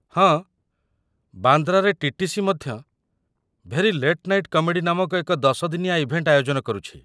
ହଁ, ବାନ୍ଦ୍ରାରେ ଟି.ଟି.ସି. ମଧ୍ୟ 'ଭେରି ଲେଟ୍ ନାଇଟ୍ କମେଡ଼ି' ନାମକ ଏକ ଦଶ ଦିନିଆ ଇଭେଣ୍ଟ ଆୟୋଜନ କରୁଛି।